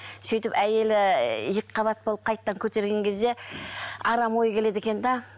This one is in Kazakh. сөйтіп әйелі екі қабат болып қайтадан көтерген кезде арам ой келеді екен де